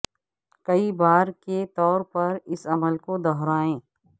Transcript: کئی بار کے طور پر اس عمل کو دہرائیں